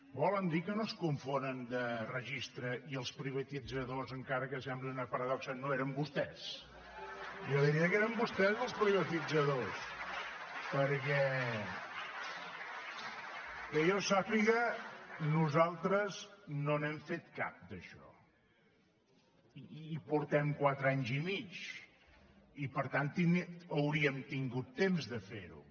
volen dir que no es confonen de registre i els privatitzadors encara que sembli una paradoxa no eren vostès jo diria que eren vostès els privatitzadors perquè que jo sàpiga nosaltres no n’hem fet cap d’això i portem quatre anys i mig i per tant hauríem tingut temps de fer ho